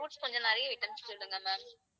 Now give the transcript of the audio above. fruits கொஞ்சம் நிறைய items சொல்லுங்க ma'am